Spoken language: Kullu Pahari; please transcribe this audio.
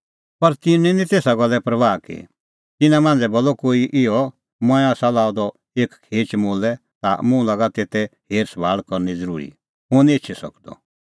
पर तिन्नैं निं तेसा गल्ले परबाह की तिन्नां मांझ़ै बोलअ एकी इहअ मंऐं आसा लअ द एक खेच मोलै ता मुंह लागा तेते हेर सभाल़ करनी ज़रूरी हुंह निं तै एछी सकदअ